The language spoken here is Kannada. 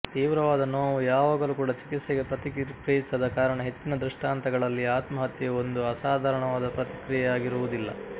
ತೀವ್ರವಾದ ನೋವು ಯಾವಾಗಲೂ ಕೂಡ ಚಿಕಿತ್ಸೆಗೆ ಪ್ರತಿಕ್ರಿಯಿಸದ ಕಾರಣ ಹೆಚ್ಚಿನ ದೃಷ್ಟಾಂತಗಳಲ್ಲಿ ಆತ್ಮಹತ್ಯೆಯು ಒಂದು ಅಸಾಧಾರಣವಾದ ಪ್ರತಿಕ್ರಿಯೆಯಾಗಿರುವುದಿಲ್ಲ